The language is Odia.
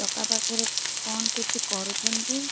ଟୋକା ପାଖରେ କଣ କିଛି କରୁଛନ୍ତି ।